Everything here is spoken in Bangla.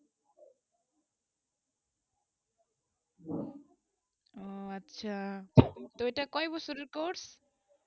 উহ আচ্ছা তো এই কয়ে বসরের course